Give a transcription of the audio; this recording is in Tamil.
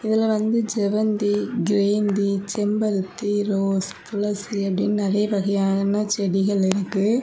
இதுல வந்து செவ்வந்தி கிரேந்தி செம்பருத்தி ரோஸ் துளசி அப்படின்னு நிறைய வகையான செடிகள் இருக்கு.